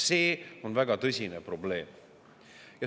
See on väga tõsine probleem.